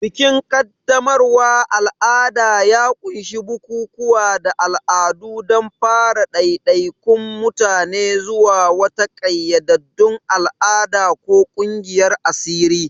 Bikin qaddamarwa al'ada ya ƙunshi bukukuwa da al'adu don fara ɗaiɗaikun mutane zuwa wata ƙayyadaddun al'ada ko ƙungiyar asiri.